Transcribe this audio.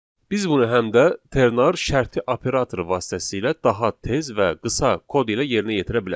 Biz bunu həm də ternar şərti operatoru vasitəsilə daha tez və qısa kod ilə yerinə yetirə bilərik.